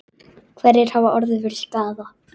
Hverjir hafa orðið fyrir skaða?